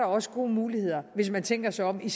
også gode muligheder hvis man tænker sig om i